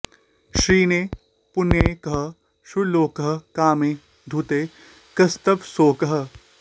क्षीणे पुण्ये कः सुरलोकः कामे धूते कस्तव शोकः